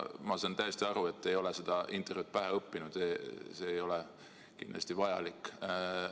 Ma saan täiesti aru, et te ei ole seda intervjuud pähe õppinud, see ei olegi kindlasti vajalik.